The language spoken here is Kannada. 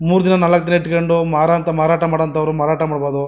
ಮೂರೂ ದಿನ ನಾಲಕ್ ದಿನ ಇಟ್ಕೊಂಡು ಮಾರೋ ಅಂತ ಮಾರಾಟ ಮಾಡೋ ಅಂಥವ್ರು ಮಾರಾಟ ಮಾಡಬಹುದು.